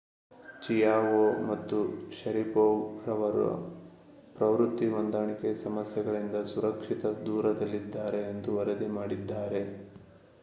Chiao ಮತ್ತು Sharipov ರವರು ಪ್ರವೃತ್ತಿ ಹೊಂದಾಣಿಕೆ ಸಮಸ್ಯೆಗಳಿಂದ ಸುರಕ್ಷಿತ ದೂರದಲ್ಲಿದ್ದಾರೆ ಎಂದು ವರದಿ ಮಾಡಿದ್ದಾರೆ